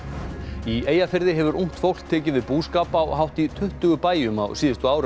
í Eyjafirði hefur ungt fólk tekið við búskap á hátt í tuttugu bæjum á síðustu árum